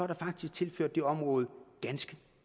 der faktisk tilført det område ganske